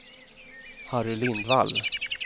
Harry Lindvall